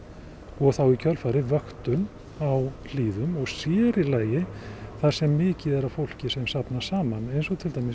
og þá í kjölfarið vöktun á hlíðum og sér í lagi þar sem mikið er af fólki sem að safnast saman eins og til dæmis